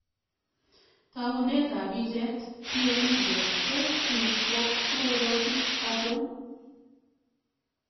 Towunetab picheet ,PA Media tos chuu ko mororochik achon?